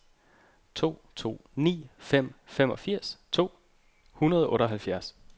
to to ni fem femogfirs to hundrede og otteoghalvfjerds